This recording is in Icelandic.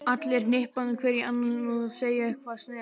Allir hnippandi hver í annan og að segja eitthvað sniðugt.